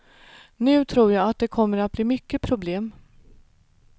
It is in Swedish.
Nu tror jag att det kommer att bli mycket problem.